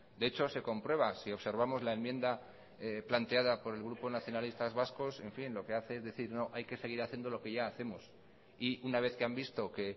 de hecho se comprueba si observamos la enmienda planteada por el grupo nacionalistas vascos en fin lo que hace es decir no hay que seguir haciendo lo que ya hacemos y una vez que han visto que